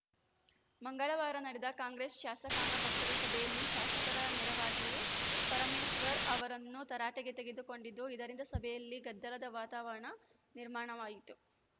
ಮಂಗಳವಾರ ನಡೆದ ಕಾಂಗ್ರೆಸ್‌ ಶಾಸಕಾಂಗ ಪಕ್ಷದ ಸಭೆಯಲ್ಲಿ ಶಾಸಕರ ನೇರವಾಗಿಯೇ ಪರಮೇಶ್ವರ್‌ ಅವರನ್ನು ತರಾಟೆಗೆ ತೆಗೆದುಕೊಂಡಿದ್ದು ಇದರಿಂದ ಸಭೆಯಲ್ಲಿ ಗದ್ದಲದ ವಾತಾವರಣ ನಿರ್ಮಾಣವಾಯಿತು